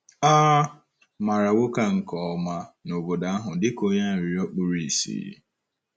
A maara nwoke a nke ọma n’obodo ahụ dị ka onye arịrịọ kpuru ìsì.